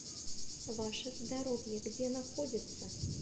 ваше здоровье где находится